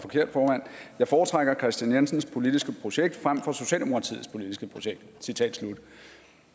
jeg foretrækker kristian jensens politiske projekt frem for socialdemokratiets politiske projekt citat slut